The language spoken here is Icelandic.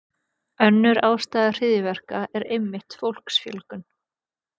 Önnur ástæða hryðjuverka er einmitt fólksfjölgun.